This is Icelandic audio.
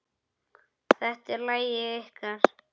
Þetta er lagið ykkar.